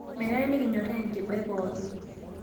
Menare nikinyorraa enkiba e pookin